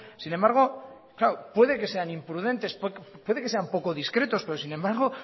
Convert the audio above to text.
sin embargo puede que sean imprudentes puede que sean poco discretos pero sin embargo